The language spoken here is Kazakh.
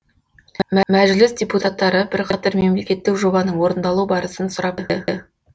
мәжіліс депутаттары бірқатар мемлекеттік жобаның орындалу барысын сұрап білді